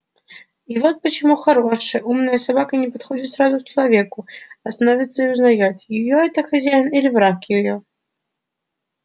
и вот почему хорошая умная собака не подходит сразу к человеку а становится и узнаёт её это хозяин или враг её